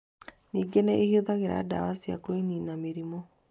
Ningĩ nĩ ihũthagĩra ndawa cia kũniina mĩrimũ.